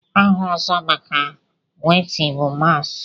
aha ọzọ maka wéétị bụ mààs